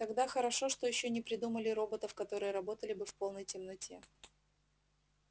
тогда хорошо что ещё не придумали роботов которые работали бы в полной темноте